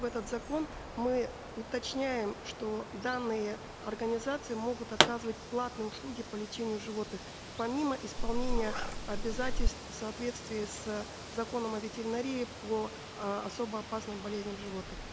в этот закон мы уточняем что данные организации могут оказывать платные услуги по лечению животных помимо исполнения обязательств в соответствии с законом о ветеринарии по э особо опасным болезням животных